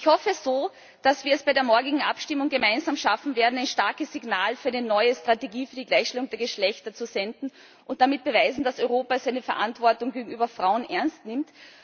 Ich hoffe so, dass wir es bei der morgigen Abstimmung gemeinsam schaffen werden, ein starkes Signal für eine neue Strategie für die Gleichstellung der Geschlechter zu senden, und damit beweisen, dass Europa seine Verantwortung gegenüber Frauen ernst nimmt.